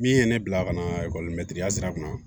Min ye ne bila ka na ekɔli mɛtiri ya sira kan